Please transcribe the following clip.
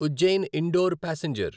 Ujjain Indore passenger